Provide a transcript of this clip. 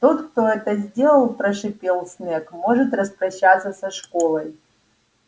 тот кто это сделал прошипел снегг может распрощаться со школой